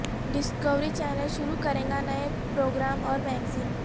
Discovery channel شروع کرے گا نئے پر وگرام اور میگزین